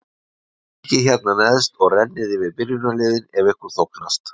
Kíkið hérna neðst og rennið yfir byrjunarliðin ef ykkur þóknast.